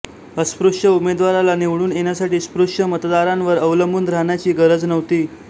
अस्पृश्य उमेदवाराला निवडून येण्यासाठी स्पृश्य मतदारांवर अवलंबून राहण्याची गरज नव्हती